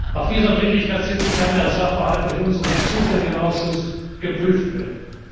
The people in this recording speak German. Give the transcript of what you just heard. Auf dieser Dringlichkeitssitzung kann der Sachverhalt durch unseren zuständigen Ausschuss geprüft